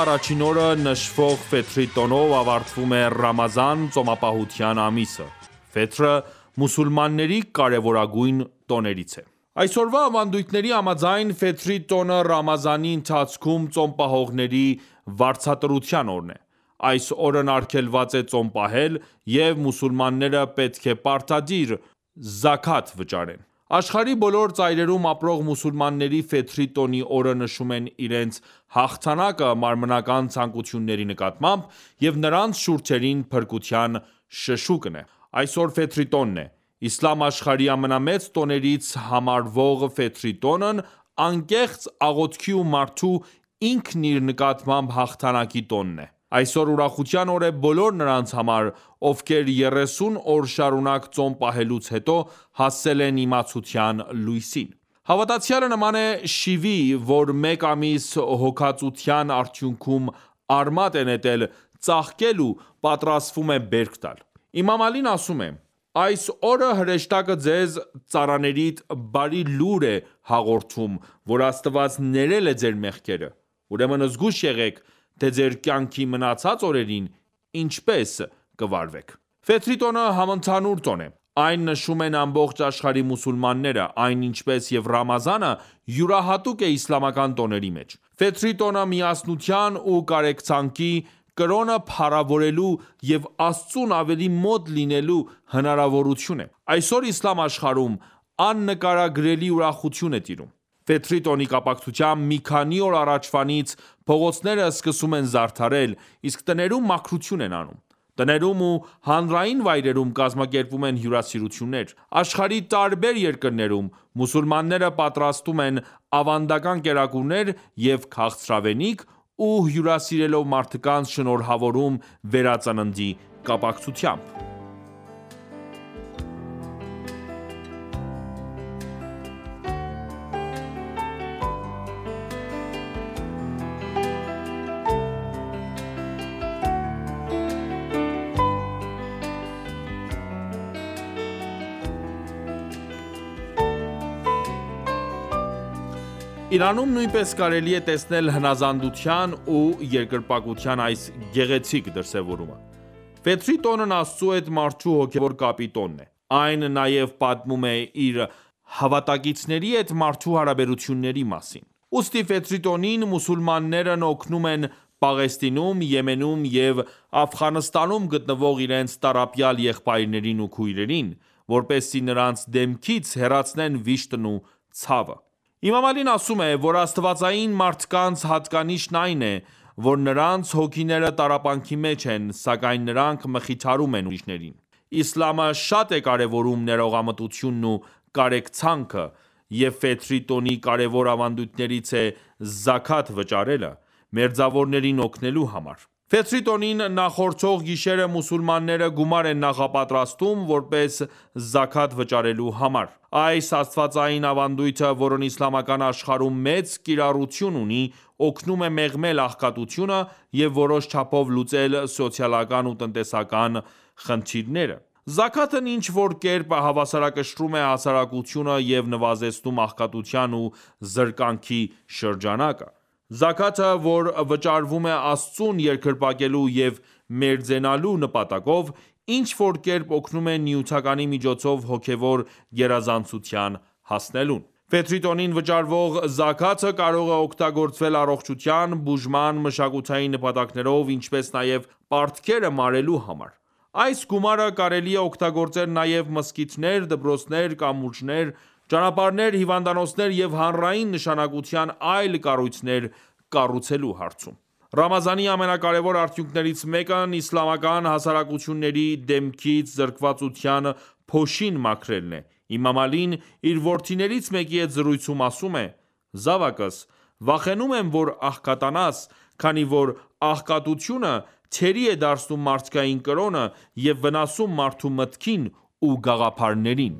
առաջին օրը նշվող Ֆեթրի տոնով ավարտվում է ռամազան ծոմապահության ամիսը: Ֆեթրը մուսուլմանների կարևորագույն տոներից է: Այս օրվա ավանդույթների համաձայն, Ֆեթրի տոնը ռամազանի ընթացքում ծոմ պահողների վարձատրության օրն է: Այս օրն արգելված է ծոմ պահել, և մուսուլմանները պետք է պարտադիր զաքաթ վճարեն: Աշխարհի բոլոր ծայրերում ապրող մուսուլմանները Ֆեթրի տոնի օրը նշում են իրենց հաղթանակը մարմնական ցանկությունների նկատմամբ և նրանց շուրթերին փրկության շշուկն է: Այսօր Ֆեթրի տոնն է: Իսլամ աշխարհի ամենամեծ տոներից համարվող Ֆեթրի տոնն անկեղծ աղոթքի ու մարդու՝ ինքն իր նկատմամբ հաղթանակի տոնն է: Այսօր ուրախության օր է բոլոր նրանց համար, ովքեր երեսուն օր շարունակ ծոմ պահելուց հետո, հասել են իմացության լույսին: Հավատացյալը նման է շիվի, որ մեկ ամիս հոգածության արդյունքում արմատ է նետել, ծաղկել ու պատրաստվում է բերք տալ: Իմամ Ալին ասում է. «Այս օրը հրեշտակը ձեզ՝ ծառաներիդ, բարի լուր է հաղորդում, որ Աստված ներել է ձեր մեղքերը: Ուրեմն զգույշ եղեք, թե ձեր կյանքի մնացած օրերին ինչպես կվարվեք: տոնը համընդհանուր տոն է: Այն նշում են ամբողջ աշխարհի մուսուլմանները: Այն, ինչպես և ռամազանը, յուրահատուկ է իսլամական տոների մեջ: Ֆեթրի տոնը միասնության ու կարեկցանքի, կրոնը փառավորելու և Աստծուն ավելի մոտ լինելու հնարավորություն է: Այսօր իսլամ աշխարհում աննկարագրելի ուրախություն է տիրում: Ֆեթրի տոնի կապակցությամբ, մի քանի օր առաջվանից, փողոցները սկսում են զարդարել, իսկ տներում մաքրություն են անում: Տներում ու հանրային վայրերում կազմակերպվում են հյուարսիրություններ: Աշխարհի տարբեր երկրներում, մուսուլմանները պատրաստում են ավանդական կերակուրներ և քաղցրավենիք ու հյուրասիրելով մարդկանց, շնորհավորում վերածննդի կապակցությամբ: Իրանում նույնպես կարելի է տեսնել հնազանդության ու երկրպագության այս գեղեցիկ դրսևորումը: Ֆեթրի տոնն Աստծու հետ մարդու հոգևոր կապի տոնն է: Այն նաև պատմում է իր հավատակիցների հետ մարդու հարաբերությունների մասին: Ուստի Ֆեթրի տոնին մուսուլմաններն օգնում են Պաղեստինում, Եմենում և Աֆղանստանում գտնվող իրենց տառապյալ եղբայրներին ու քույրերին, որպեսզի նրանց դեմքից հեռացնեն վիշտն ու ցավը: Իմամ Ալին ասում է, որ աստվածային մարդկանց հատկանիշն այն է, որ նրանց հոգիները տառապանքի մեջ են, սակայն նրանք մխիթարում են ուրիշներին: Իսլամը շատ է կարևորում ներողամտությունն ու կարեկցանքը: Եվ Ֆեթրի տոնի կարևոր ավանդույթներից է զաքաթ վճարելը՝ մերձավորներին օգնելու համար: Ֆեթրի տոնին նախորդող գիշերը մուսուլմանները գումար են նախապատրաստում՝ որպես զաքաթ վճարելու համար: Այս աստվածային ավանդույթը, որն իսլամական աշխարհում մեծ կիրառություն ունի, օգնում է մեղմել աղքատությունը և որոշ չափով լուծել սոցիալական ու տնտեսական խնդիրները: Զաքաթն ինչ որ կերպ հավասարակշռում է հասարակությունը և նվազեցնում աղքատության ու զրկանքի շրջանակը: Զաքաթը, որ վճարվում է Աստծուն երկրպագելու և մերձենալու նպատակով, ինչ որ կերպ օգնում է նյութականի միջոցով հոգևոր գերազանցության հասնելուն: Ֆեթրի տոնին վճարվող զաքաթը կարող է օգտագործվել առողջության, բուժման, մշակութային նպատակներով, ինչպես նաև պարտքերը մարելու համար: Այս գումարը կարելի է օգտագործել նաև մզկլիթներ, դպրոցներ, կամուրջներ, ճանապարհներ, հիվանդանոցներ և հանրային նշանակության այլ կառույցներ կառուցելու համար: Ռամազանի ամենակարևոր արդյունքներց մեկն իսլամական հասարակությունների դեմքից զրկվածության փոշին մաքրելն է: Իմամ Ալին, իր որդիներից մեկի հետ զրույցում, ասում է. «Զավակս, վախենում եմ որ աղքատանաս, քանի որ աղքատությունը թերի է դարձնում մարդկային կրոնը և վնասում մարդու մտքին ու գաղափարներին»: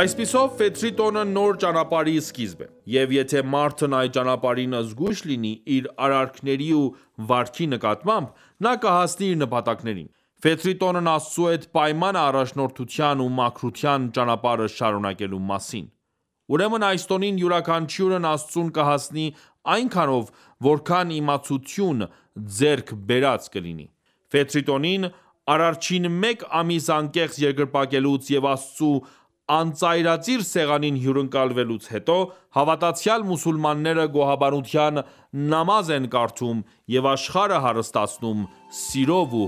Այսպիսով, Ֆեթրի տոնը նոր ճանապարհի սկիզբն է: Եվ եթե մարդն այդ ճանապարհին զգույշ լինի իր արարքների ու վարքի նկատմամբ, նա կհասնի իր նպատակակետին: ֆեթրի տոնն Աստծու հետ պայման է առաջնորդության ու մաքրության ճանապարհը շարունակելու մասին: Ուրեմն այս տոնին յուրաքանչյուրն Աստծուն կհասնի այնքանով, որքան իմացություն ձեռք բերած կլինի: Ֆեթրի տոնին, Արարչին մեկ ամիս անկեղծ երկրպագելուց և Աստծու անծայրածիր սեղանին հյուրընկալվելուց հետո, հավատացյալ մուսուլմանները գոհաբանության նամազ են կարդում և աշխարհը հարստացնում սիրով ու